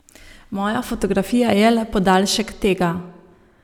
Moja fotografija je le podaljšek tega.